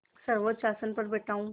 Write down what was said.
सर्वोच्च आसन पर बैठा हूँ